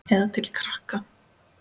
Eða til krakka?